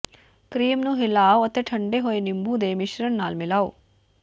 cream ਨੂੰ ਹਿਲਾਓ ਅਤੇ ਠੰਢੇ ਹੋਏ ਨਿੰਬੂ ਦੇ ਮਿਸ਼ਰਣ ਨਾਲ ਮਿਲਾਓ